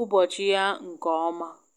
ụbọchị ya nke ọma.